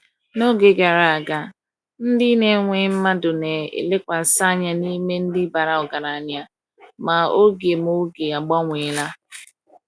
N’oge gara aga, ndị na-ewe mmadụ na-elekwasị anya n’ime ndị bara ọgaranya, ma oge ma oge agbanweela.